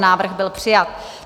Návrh byl přijat.